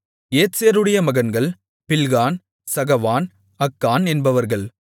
ஏத்சேருடைய மகன்கள் Bilhan Zaavan Akan என்பவர்கள்